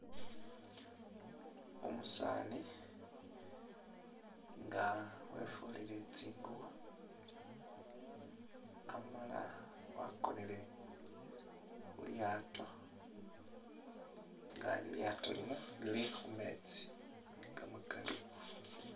Umusani nga wefulile tsingubo Amala wakonile khu'lyato nga lilyato lino Lili khumetsi kamakaali